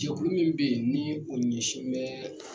Jɛkulu min bɛ yen ni o ɲɛsin bɛ